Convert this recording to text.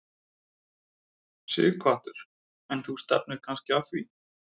Sighvatur: En þú stefnir kannski að því?